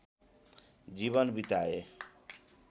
जीवन बिताए